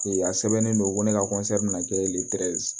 Ee a sɛbɛnnen don ko ne ka min na kɛ